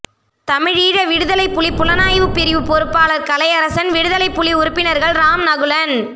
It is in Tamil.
தமிழீழ விடுதலைப் புலி புலனாய்வுப் பிரிவுப் பொறுப்பாளர் கலையரசன் விடுதலைப் புலி உறுப்பினர்கள் ராம் நகுலன்